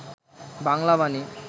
Bangla Bani